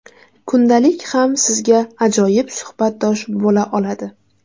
Kundalik ham sizga ajoyib suhbatdosh bo‘la oladi.